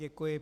Děkuji.